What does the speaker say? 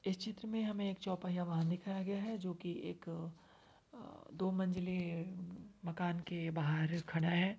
इस चित्र में हमे एक चौपहिया वाहन दिखाया गया है। जो कि एक अ दो मंजिले मकान के बाहर खड़ा है।